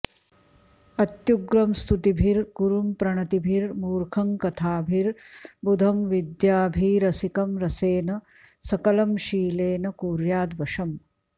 अत्युग्रं स्तुतिभिर्गुरुं प्रणतिभिर्मूर्खं कथाभिर्बुधं विद्याभीरसिकं रसेन सकलं शीलेन कुर्य्याद्वशम्